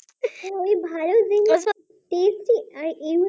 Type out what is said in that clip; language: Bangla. এই ভালো জিনিস তো Tasty